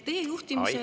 Teie juhtimisel on …